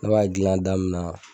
Ne b'a gilan da min na